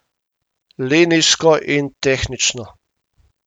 Linijsko in tehnično.